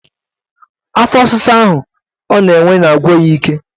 Afọ ọsịsa ọ na-enwe na-agwu ya ije